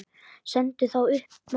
Sendu þá upp, mamma.